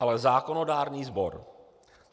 ale zákonodárný sbor.